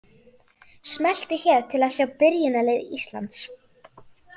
Smelltu hér til að sjá byrjunarlið Íslands.